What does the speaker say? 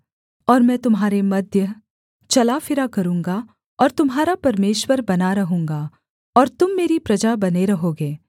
और मैं तुम्हारे मध्य चला फिरा करूँगा और तुम्हारा परमेश्वर बना रहूँगा और तुम मेरी प्रजा बने रहोगे